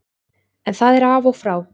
En það er af og frá.